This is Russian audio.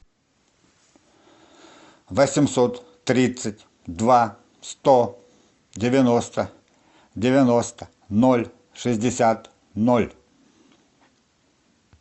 восемьсот тридцать два сто девяносто девяносто ноль шестьдесят ноль